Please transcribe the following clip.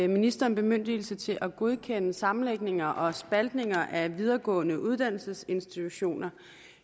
ministeren bemyndigelse til at godkende sammenlægninger og spaltninger af videregående uddannelsesinstitutioner